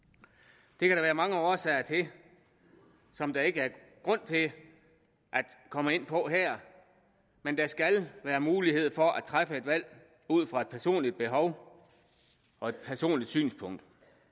det kan der være mange årsager til som der ikke er grund til at komme ind på her men der skal være mulighed for at træffe et valg ud fra et personligt behov og et personligt synspunkt